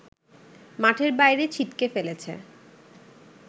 মাঠের বাইরে ছিটকে ফেলেছে